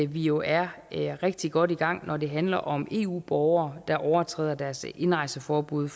vi jo er rigtig godt i gang når det handler om eu borgere der overtræder deres indrejseforbud